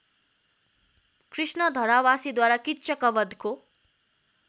कृष्ण धरावासीद्वारा किच्चकबधको